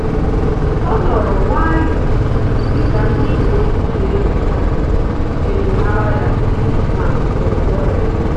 O nọrọ nwayọọ dịka ndị uwe ojii na enyocha ejimara ya na ngwongwo ya